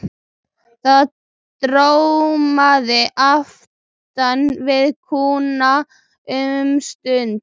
Það dormaði aftan við kúna um stund.